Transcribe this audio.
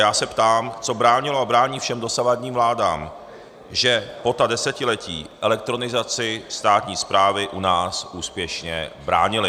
Já se ptám, co bránilo a brání všem dosavadním vládám, že po ta desetiletí elektronizaci státní správy u nás úspěšně bránily.